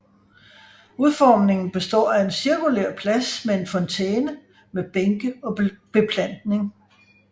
Udformningen består af en cirkulær plads med en fontæne med bænke og beplantning